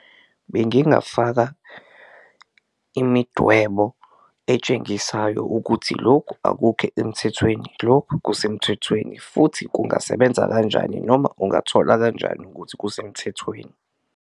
Bengingafaka imidwebo etshengisayo ukuthi lokhu akukho emthethweni, lokhu kusemthethweni futhi kungasebenza kanjani noma ungathola kanjani ukuthi kusemthethweni.